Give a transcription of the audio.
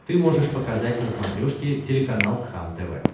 ты можешь показать на смотрешке телеканал кхлм тв